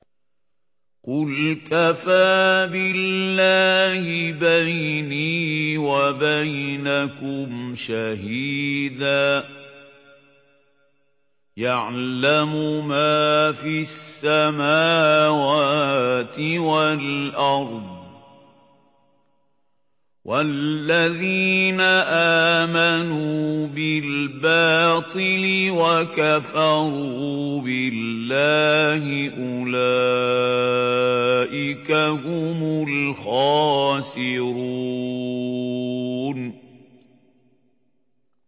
قُلْ كَفَىٰ بِاللَّهِ بَيْنِي وَبَيْنَكُمْ شَهِيدًا ۖ يَعْلَمُ مَا فِي السَّمَاوَاتِ وَالْأَرْضِ ۗ وَالَّذِينَ آمَنُوا بِالْبَاطِلِ وَكَفَرُوا بِاللَّهِ أُولَٰئِكَ هُمُ الْخَاسِرُونَ